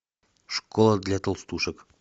школа для толстушек